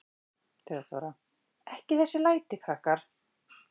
THEODÓRA: Ekki þessi læti, krakkar.